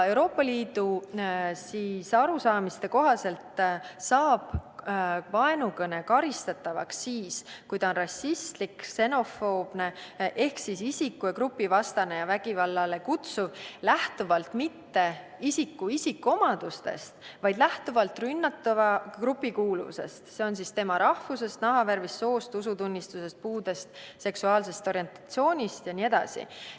Euroopa Liidu arusaamiste kohaselt saab vaenukõne karistatavaks siis, kui see on rassistlik, ksenofoobne ehk isiku- ja grupivastane ning vägivallale kutsuv ja seda mitte lähtuvalt rünnatava isiku isikuomadustest, vaid lähtuvalt tema grupikuuluvusest, s.o tema rahvusest, nahavärvist, soost, usutunnistusest, puudest, seksuaalsest orientatsioonist jne.